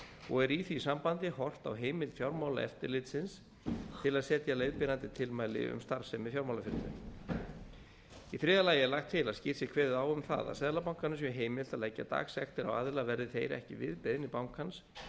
og er í því sambandi horft á heimild fjármálaeftirlitsins til að setja leiðbeinandi tilmæli um starfsemi fjármálafyrirtækja í þriðja lagi lagt til að skýrt sé kveðið á um það að seðlabankanum sé heimilt að leggja dagsektir á aðila verði þeir ekki við beiðni bankans